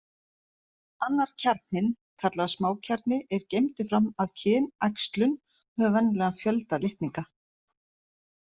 Annar kjarninn, kallaður smákjarni, er geymdur fram að kynæxlun og hefur venjulegan fjölda litninga.